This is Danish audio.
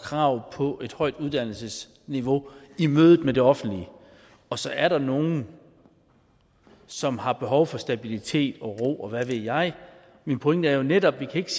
krav på et højt uddannelsesniveau i mødet med det offentlige og så er der nogle som har behov for stabilitet og ro og hvad ved jeg min pointe er jo netop at vi ikke